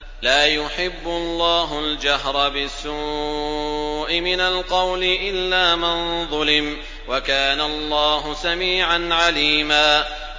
۞ لَّا يُحِبُّ اللَّهُ الْجَهْرَ بِالسُّوءِ مِنَ الْقَوْلِ إِلَّا مَن ظُلِمَ ۚ وَكَانَ اللَّهُ سَمِيعًا عَلِيمًا